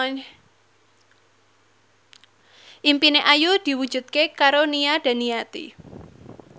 impine Ayu diwujudke karo Nia Daniati